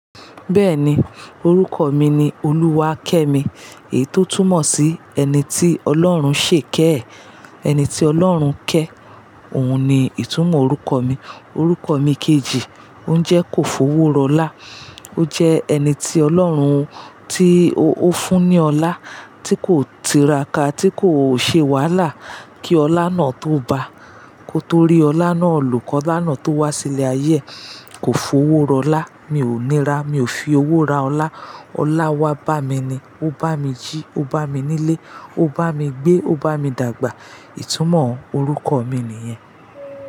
Bẹ́ẹ̀ni orúkọ mi ni Oluwakemi. Èyí tó túmọ̀ sí ẹni tí Ọlọ́run ṣè iké ee, ẹni tí Ọlọ́run ké. Òun ni ìtumọ̀ orúkọ mi. Orúkọ mi kejì, ó ń jẹ́ kò fowó ra ọlá. Ó jẹ́ ẹni tí Ọlọ́run, tí ó fún ní ọlá, tí kò tiraka, tí kò ṣe wàhálà. Kí ọlá náà tó bá, kó tó rí ọlá náà lo, ki ọlá náà tó wá sí ilé ayé kò fowó ro ọlá. Mi ò nira, mi ò fi owó ra ọlá. Ọlá wá bá mi ni. Ó bá mi jí, ó bá mi nílé, ó bá mi gbé, ó bá mi dàgbà. Ìtumọ̀ orúkọ mi nìyẹn.